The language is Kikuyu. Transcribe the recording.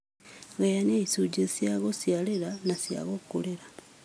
Gayania ishunjĩ cia gũshiarĩra na cia gũkũrĩra